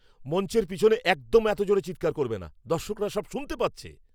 মঞ্চের পিছনে একদম এত জোরে চিৎকার করবে না। দর্শকরা সব শুনতে পাচ্ছে।